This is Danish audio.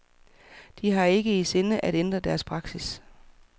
De har ikke i sinde at ændre deres praksis.